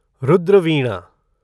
Rudra Veena